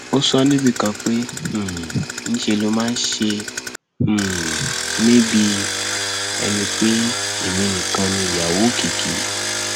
ó sọ ọ níbì kan pé um níṣẹ ló máa ń ṣe um mí bíi ẹni pé èmi nìkan ni ìyàwó òkìkí